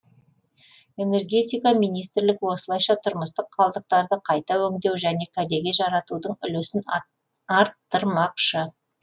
энергетика министрлігі осылайша тұрмыстық қалдықтарды қайта өңдеу мен кәдеге жаратудың үлесін арттырмақшы